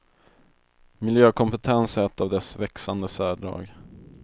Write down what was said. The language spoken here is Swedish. Miljökompetens är ett av dess växande särdrag.